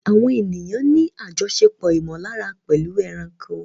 Àwọn ènìyàn ní àjọṣepọ̀ ìmọ̀lára pẹ̀lú ẹranko.